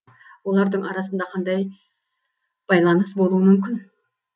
олардың арасында қандай байаныс болуы мүмкін